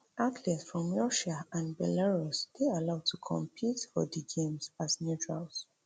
athletes from russia and belarus dey allowed to compete for di games as neutrals